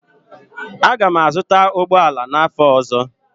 Aga m azụta ụgbọ ala n'afọ ọzọ